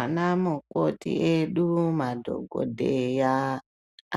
Ana mukoti edu, madhogodheya